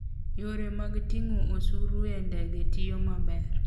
Yore mag ting'o osuru e ndege tiyo maber.